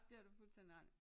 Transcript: Det har du fuldstændig ret i